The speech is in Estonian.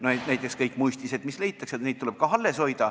Näiteks tuleb kõik muistised, mis leitakse, ka alles hoida.